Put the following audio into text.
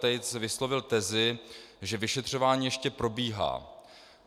Tejc vyslovil tezi, že vyšetřování ještě probíhá.